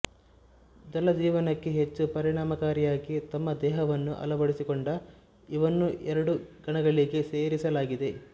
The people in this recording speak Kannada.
ಜಲಜೀವನಕ್ಕೆ ಹೆಚ್ಚು ಪರಿಣಾಮಕಾರಿಯಾಗಿ ತಮ್ಮ ದೇಹವನ್ನು ಅಳವಡಿಸಿಕೊಂಡ ಇವನ್ನು ಎರಡು ಗಣಗಳಿಗೆ ಸೇರಿಸಲಾಗಿದೆ